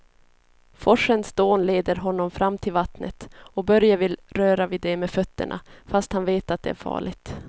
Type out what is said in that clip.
Forsens dån leder honom fram till vattnet och Börje vill röra vid det med fötterna, fast han vet att det är farligt.